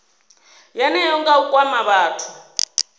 yeneyo nga u kwama vhathu